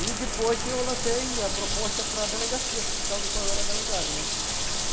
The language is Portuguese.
E depois eu lancei a proposta para delegacia sindical do qual eu era delegado, né.